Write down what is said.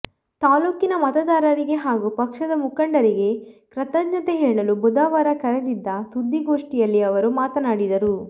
ತಾಲ್ಲೂಕಿನ ಮತದಾರರಿಗೆ ಹಾಗೂ ಪಕ್ಷದ ಮುಖಂಡರಿಗೆ ಕೃತಜ್ಞತೆ ಹೇಳಲು ಬುಧವಾರ ಕರೆದಿದ್ದ ಸುದ್ದಿಗೋಷ್ಠಿಯಲ್ಲಿ ಅವರು ಮಾತನಾಡಿದರು